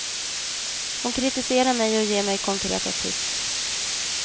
Hon kritiserar mig och ger mig konkreta tips.